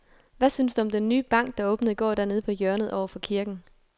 Hvad synes du om den nye bank, der åbnede i går dernede på hjørnet over for kirken?